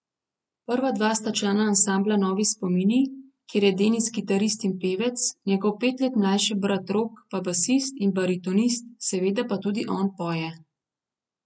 Prva dva sta člana ansambla Novi spomini, kjer je Denis kitarist in pevec, njegov pet let mlajši brat Rok pa basist in baritonist, seveda pa tudi on poje.